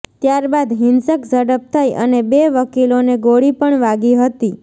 ત્યારબાદ હિંસક ઝડપ થઈ અને બે વકીલોને ગોળી પણ વાગી હતી